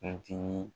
Kuntigi